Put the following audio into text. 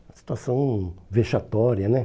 Uma situação vexatória, né?